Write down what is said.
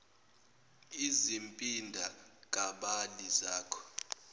izimpinda kabili zako